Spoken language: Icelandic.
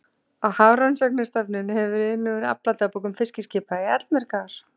Á Hafrannsóknastofnun hefur verið unnið úr afladagbókum fiskiskipa í allmörg ár.